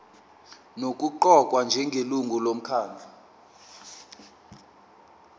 nokuqokwa njengelungu lomkhandlu